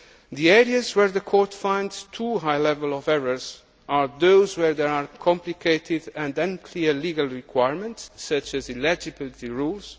achieved. The areas where the Court finds too high levels of errors are those where there are complicated and unclear legal requirements, such as eligibility